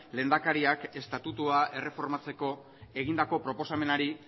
lehendakariak estatutua erreformatzeko egindako proposamenari